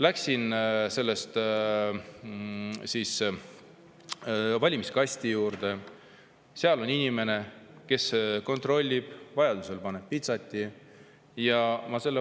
Siis läksin valimiskasti juurde, seal oli inimene, kes kontrollis ja pani pitsati peale.